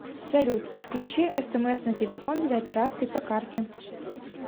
салют включи смс на телефон для операций по карте